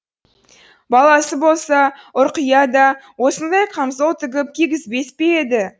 баласы болса ұрқия да осындай камзол тігіп кигізбес пе еді